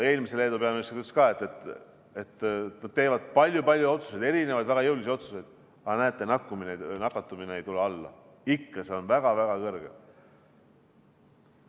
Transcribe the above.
Temagi ütles, et nad teevad palju-palju otsuseid, erinevaid, väga jõulisi otsuseid, aga näete, nakatumisnäitajad ei tule alla, ikka on need väga-väga kõrgel.